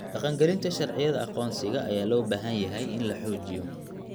Dhaqangelinta sharciyada aqoonsiga ayaa loo baahan yahay in la xoojiyo.